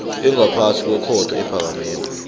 engaphasi kwekhotho ephakemeko